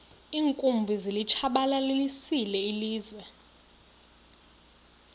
iinkumbi zilitshabalalisile ilizwe